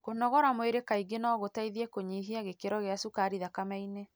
Kũnogora mwĩrĩ kaingĩ no gũteithie kũnyihia gĩkĩro gĩa cukari thakameinĩ.